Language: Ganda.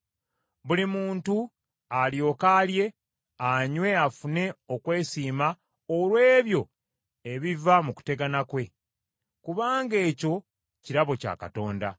Buli muntu alyoke alye, anywe afune okwesiima olw’ebyo ebiva mu kutegana kwe, kubanga ekyo kirabo kya Katonda.